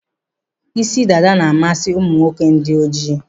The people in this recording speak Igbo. Isi dada na-amasị ụmụ nwoke dị ojii.